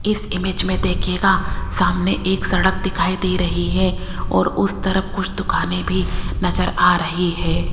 इस इमेज में देखियेगा सामने एक सड़क दिखाई दे रही है और उस तरफ कुछ दुकानें भी नजर आ रही है।